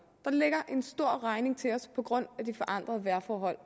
der ligger en stor regning til os på grund af de forandrede vejrforhold